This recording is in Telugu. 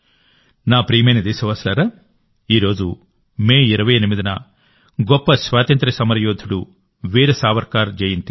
నా ప్రియమైన దేశవాసులారా ఈరోజు మే 28న గొప్ప స్వాతంత్ర్య సమరయోధుడు వీర సావర్కర్ జయంతి